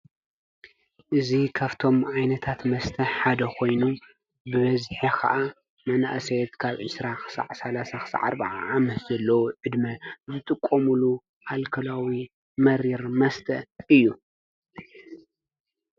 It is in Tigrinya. እዙ ኸፍቶም ዓይነታት መስተሕ ሓደ ኾይኑ ብበዝሐ ኸዓ መናእሰየት ካብ ዕሥራ ኽዕ ሠዓ ዓ ዓምስ ዘለዉ ዕድሚ ዘጥቆሙሉ ኣልከላዊ መሪር መስተ እዩ።